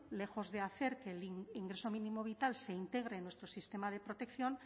lejos de hacer que el ingreso mínimo vital se integre en nuestro sistema de protección